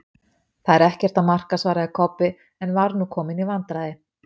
Það er ekkert að marka, svaraði Kobbi, en var nú kominn í vandræði.